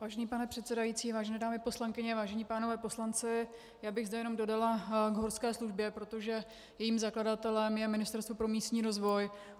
Vážený pane předsedající, vážené dámy poslankyně, vážení páni poslanci, já bych zde jenom dodala k horské službě, protože jejím zakladatelem je Ministerstvo pro místní rozvoj.